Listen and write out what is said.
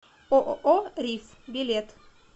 ооо риф билет